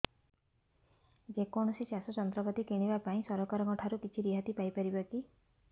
ଯେ କୌଣସି ଚାଷ ଯନ୍ତ୍ରପାତି କିଣିବା ପାଇଁ ସରକାରଙ୍କ ଠାରୁ କିଛି ରିହାତି ପାଇ ପାରିବା କି